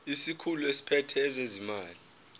isikhulu esiphethe ezezimali